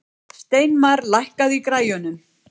Steinmar, lækkaðu í græjunum.